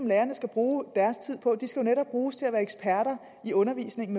lærerne skal bruge deres tid på de skal netop bruges til at være eksperter i undervisningen